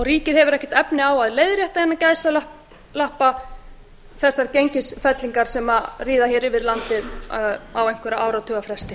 ríkið hefur ekki efni á að leiðrétta þessar gengisfellingar sem ríða hér yfir landið á einhverra áratuga fresti